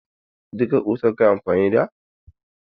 Duka ƙusar ka yi amfani da?